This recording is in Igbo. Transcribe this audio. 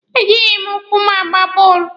E jịghị m ụkwụ m gbaa bọọlụ.